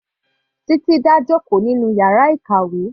Titi dá jòkó nínú yàrá ìkàwé.